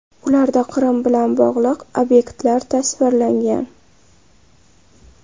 Ularda Qrim bilan bog‘liq obyektlar tasvirlangan.